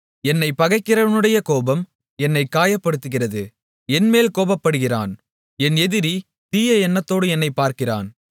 என்னைப் பகைக்கிறவனுடைய கோபம் என்னைக் காயப்படுத்துகிறது என் மேல் கோபப்படுகிறான் என் எதிரி தீய எண்ணத்தோடு என்னைப் பார்க்கிறான்